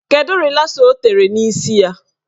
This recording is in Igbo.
Kedụ rịlasa ọ tere n'isi ya?